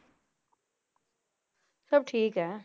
ਸਭ ਠੀਕ ਹੈ